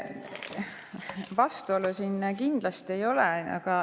Vastuolu siin kindlasti ei ole.